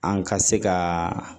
An ka se ka